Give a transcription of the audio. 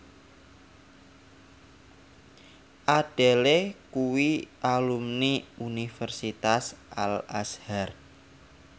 Adele kuwi alumni Universitas Al Azhar